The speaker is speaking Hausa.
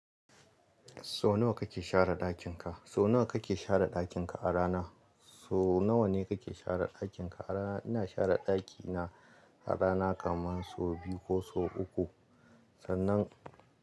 So nawa kake share ɗakin ka? So nawa kake share ɗakin ka a rana? So nawa ne kake share ɗakin ka a rana? Ina share ɗaki na a rana kaman so biyu ko so uku. Sannan.